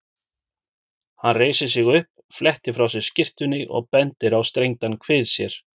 Hann reisir sig upp, flettir frá sér skyrtunni og bendir á strengdan kvið sér.